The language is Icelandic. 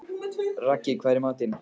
Raggi, hvað er í matinn?